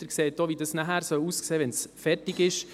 Sie sehen, wie es aussehen soll, wenn es fertig ist.